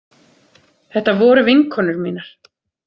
Þetta voru vinkonur mínar.